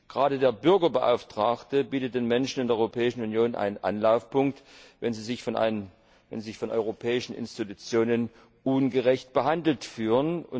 Gerade der Bürgerbeauftragte bietet den Menschen in der Europäischen Union einen Anlaufpunkt, wenn sie sich von europäischen Institutionen ungerecht behandelt fühlen.